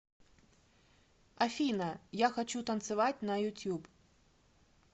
афина я хочу танцевать на ютуб